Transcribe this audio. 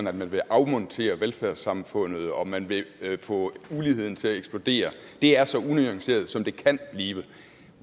at man vil afmontere velfærdssamfundet og at man vil få uligheden til at eksplodere det er så unuanceret som det kan blive